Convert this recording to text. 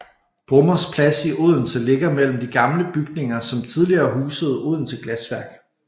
Brummers Plads i Odense ligger mellem de gamle bygninger som tidligere husede Odense Glasværk